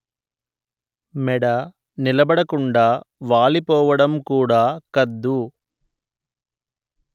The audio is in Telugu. మెడ నిలబడకుండా వాలి పోవడం కూడా కద్దు